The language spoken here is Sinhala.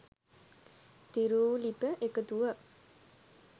තීරුලිපි එකතුවක්